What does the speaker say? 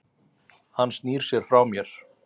Hann snýr sér frá mér.